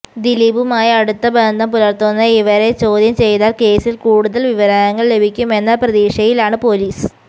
ദിലീപുമായി അടുത്ത ബന്ധം പുലർത്തുന്ന ഇവരെ ചോദ്യം ചെയ്താൽ കേസിൽ കൂടുതൽ വിവരങ്ങൾ ലഭിക്കുമെന്ന പ്രതീക്ഷയിലാണ് പോലീസ്